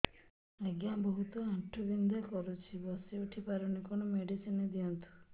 ଆଜ୍ଞା ବହୁତ ଆଣ୍ଠୁ ବଥା କରୁଛି ବସି ଉଠି ପାରୁନି କଣ ମେଡ଼ିସିନ ଦିଅନ୍ତୁ